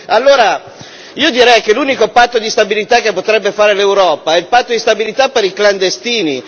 Allora io direi che l'unico patto di stabilità che potrebbe fare l'Europa è il patto di stabilità per i clandestini.